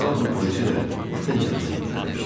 Ta bu polisi də vatın yanına göndərmişdi.